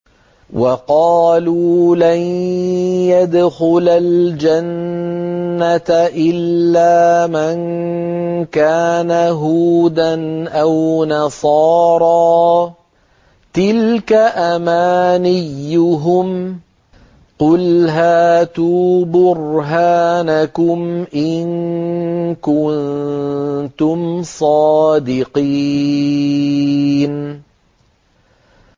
وَقَالُوا لَن يَدْخُلَ الْجَنَّةَ إِلَّا مَن كَانَ هُودًا أَوْ نَصَارَىٰ ۗ تِلْكَ أَمَانِيُّهُمْ ۗ قُلْ هَاتُوا بُرْهَانَكُمْ إِن كُنتُمْ صَادِقِينَ